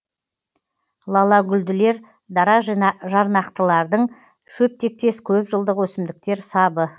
лалагүлділер дара жарнақтылардың шөптектес көпжылдық өсімдіктер сабы